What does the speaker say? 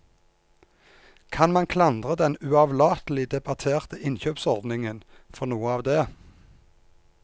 Kan man klandre den uavlatelig debatterte innkjøpsordningen for noe av det?